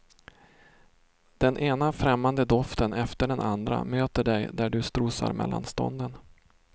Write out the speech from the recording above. Den ena främmande doften efter den andra möter dig där du strosar mellan stånden.